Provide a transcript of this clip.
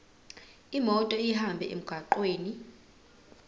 imoto ihambe emgwaqweni